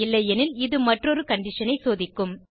இல்லையெனில் இது மற்றொரு கண்டிஷன் ஐ சோதிக்கும்